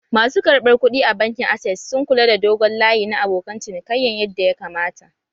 Masu karɓar kuɗi a bankin access sun kula da dogon layi na abokan cinikayyan yadda ya kamata